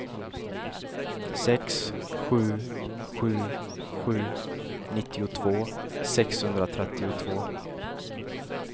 sex sju sju sju nittiotvå sexhundratrettiotvå